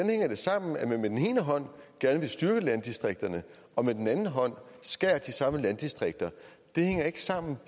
sammen at man med den ene hånd gerne vil styrke landdistrikterne og med den anden hånd skærer de samme landdistrikter det hænger ikke sammen